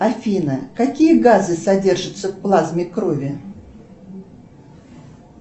афина какие газы содержатся в плазме крови